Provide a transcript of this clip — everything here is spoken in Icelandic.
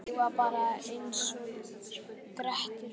Ég var bara einsog Grettir útlagi.